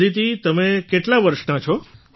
અદિતિ તમે કેટલાં વર્ષનાં છો